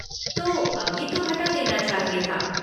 तो अभी तो हटा देना चाहिए था।